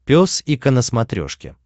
пес и ко на смотрешке